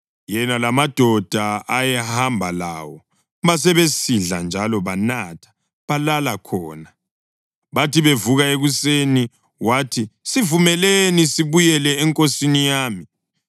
Yena lamadoda ayehamba lawo basebesidla njalo banatha, balala khona. Bathi bevuka ekuseni wathi, “Sivumeleni sibuyele enkosini yami.”